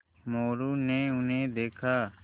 मोरू ने उन्हें देखा